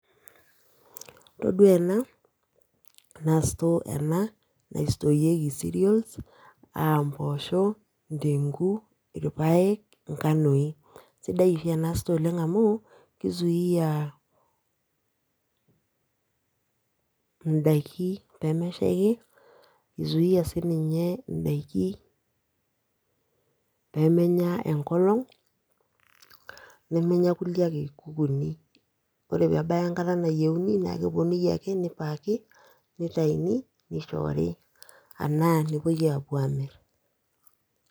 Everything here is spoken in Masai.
Todua ena, naa store ena, naistoorieki cereals, ah mpoosho, ndengu, irpaek, nkanoi. Sidai oshi ena store oleng amu, ki zuia idaiki pemeshaiki, ni zuia sininye daiki pemenya enkolong, nemenya kulie ake kukuuni. Ore pebaya enkata nayieuni, na keponunui ake nipaki, nitayuni, nishoori, anaa nepoi apuo amir.